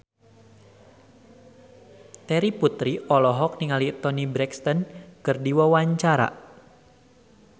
Terry Putri olohok ningali Toni Brexton keur diwawancara